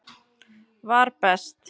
var best.